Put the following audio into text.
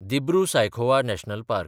Dibru Saikhowa National park